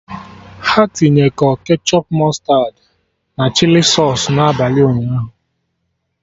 Ha tinye kọ ketchọp, mụstardị, na chili sausụ n'abalị ụnyaahụ